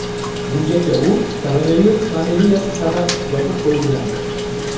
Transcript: Bungacha u koronavirus pandemiyasi sabab yopib qo‘yilgandi.